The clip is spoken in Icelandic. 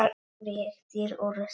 Hann réttir úr sér.